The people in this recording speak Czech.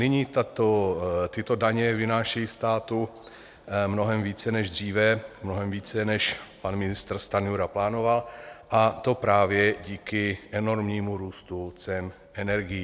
Nyní tyto daně vynášejí státu mnohem více než dříve, mnohem více, než pan ministr Stanjura plánoval, a to právě díky enormnímu růstu cen energií.